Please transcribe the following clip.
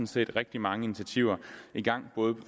set rigtig mange initiativer i gang både i